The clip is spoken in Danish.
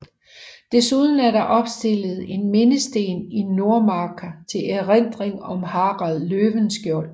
Desuden er der opstillet en mindesten i Nordmarka til erindring om Harald Løvenskiold